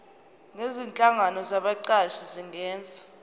nezinhlangano zabaqashi zingenza